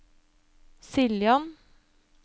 Siljan